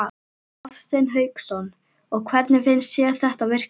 Hafsteinn Hauksson: Og hvernig finnst þér þetta virka?